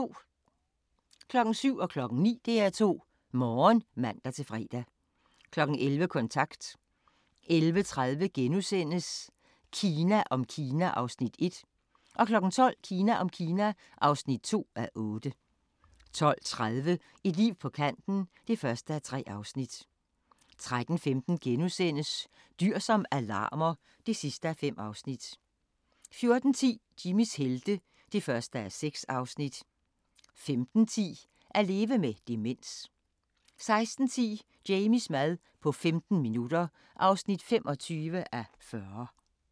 07:00: DR2 Morgen (man-fre) 09:00: DR2 Morgen (man-fre) 11:00: Kontant 11:30: Kina om Kina (1:8)* 12:00: Kina om Kina (2:8) 12:30: Et liv på kanten (1:3) 13:15: Dyr som alarmer (5:5)* 14:10: Jimmys helte (1:6) 15:10: At leve med demens 16:10: Jamies mad på 15 minutter (25:40)